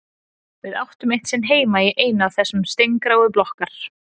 Við áttum eitt sinn heima í einu af þessum steingráu blokkar